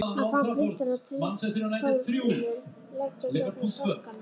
Hann fann kuldann af trégólfinu leggja gegnum sokkana.